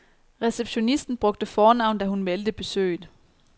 Receptionisten brugte fornavn, da hun meldte besøget.